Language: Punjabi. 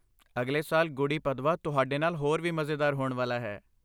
ਅਗਲੇ ਸਾਲ ਗੁੜੀ ਪਦਵਾ ਤੁਹਾਡੇ ਨਾਲ ਹੋਰ ਵੀ ਮਜ਼ੇਦਾਰ ਹੋਣ ਵਾਲਾ ਹੈ!